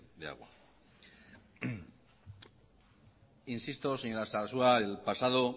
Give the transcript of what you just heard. de agua insisto señora sarasua el pasado